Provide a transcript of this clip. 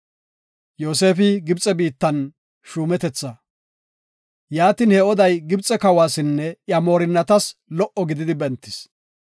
Yaatin he oday Gibxe kawasinne iya moorinnatas lo77o gididi bentis.